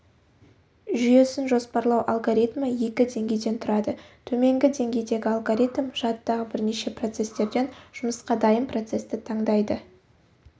жүйесін жоспарлау алгоритмі екі деңгейден тұрады төменгі деңгейдегі алгоритм жадыдағы бірнеше процестерден жұмысқа дайын процесті таңдайды